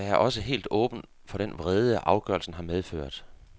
Jeg er også helt åben for den vrede, afgørelsen har medført.